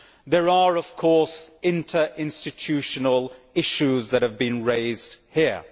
There are of course interinstitutional issues that have been raised here.